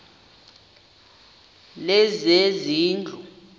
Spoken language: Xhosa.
lezezindlu